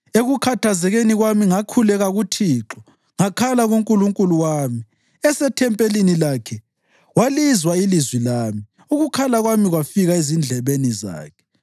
Ekukhathazekeni kwami ngakhuleka kuThixo; ngakhala kuNkulunkulu wami. Esethempelini lakhe walizwa ilizwi lami; ukukhala kwami kwafika ezindlebeni zakhe.